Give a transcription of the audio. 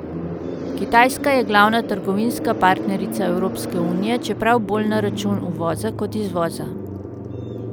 Kitajska je glavna trgovinska partnerica Evropske unije, čeprav bolj na račun uvoza kot izvoza.